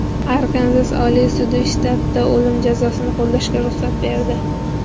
Arkanzas Oliy sudi shtatda o‘lim jazosini qo‘llashga ruxsat berdi.